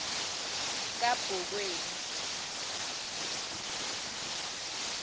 kabokweni